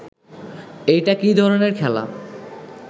এইটা কি ধরনের খেলা